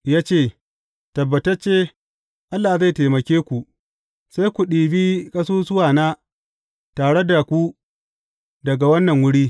Ya ce, Tabbatacce Allah zai taimake ku, sai ku ɗibi ƙasusuwana tare da ku daga wannan wuri.